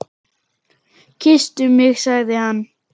Kysstu mig sagði hann.